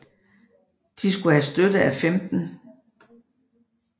De skulle have støtte af 15